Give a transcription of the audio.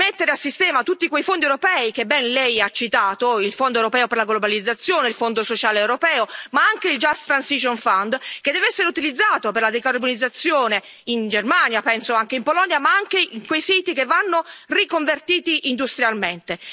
Di mettere a sistema tutti quei fondi europei che ben Lei ha citato il Fondo europeo per la globalizzazione, il Fondo sociale europeo, ma anche il Just Transition Fund che deve essere utilizzato per la decarbonizzazione in Germania, penso anche in Polonia, ma anche in quei siti che vanno riconvertiti industrialmente.